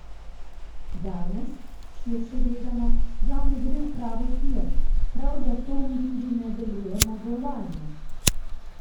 Danes, širše gledano, žal ne gre v pravo smer, prav zato mi tudi ne delujemo globalno.